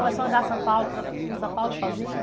Você começou a andar São Paulo, ãh, ãh, por São Paulo sozinho?